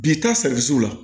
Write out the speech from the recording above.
Bi taa sigi la